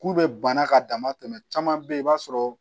K'u bɛ bana ka dama tɛmɛ caman bɛ yen i b'a sɔrɔ